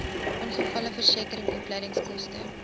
ongevalleversekering opleidingskoste